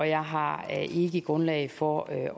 jeg har ikke grundlag for at